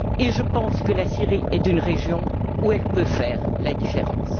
Et je pense que la Syrie est une région où elle peut faire la différence.